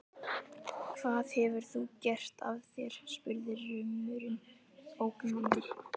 Hvað hefur þú gert af þér? spurði rumurinn ógnandi.